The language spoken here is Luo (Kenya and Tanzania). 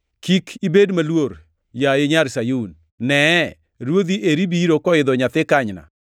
“Kik ibed maluor, yaye Nyar Sayun; nee, ruodhi eri biro, koidho nyathi kanyna.” + 12:15 \+xt Zek 9:9\+xt*